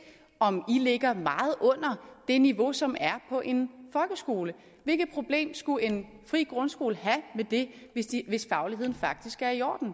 om i ligger meget under det niveau som er på en folkeskole hvilket problem skulle en fri grundskole have med det hvis fagligheden faktisk er i orden